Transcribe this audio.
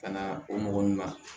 Ka na o mɔgɔ ninnu na